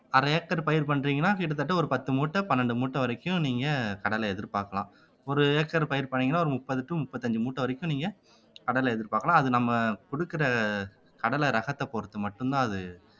அரை ஏக்கர் பயிர் பண்றீங்கன்னா கிட்டத்தட்ட ஒரு பத்து மூட்டை பன்னிரண்டு மூட்டை வரைக்கும் நீங்க கடலை எதிர்பார்க்கலாம் ஒரு ஏக்கர் பயிர் பண்ணீங்கன்னா ஒரு முப்பது to முப்பத்தி அஞ்சு மூட்டை வரைக்கும் நீங்க கடலை எதிர்பார்க்கலாம் அது நம்ம குடுக்குற கடலை ரகத்தை பொறுத்து மட்டும்தான் அது